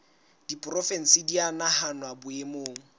diporofensi di a nahanwa boemong